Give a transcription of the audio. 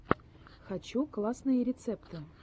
хочу классные рецепты